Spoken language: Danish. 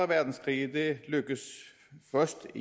verdenskrig er det lykkedes først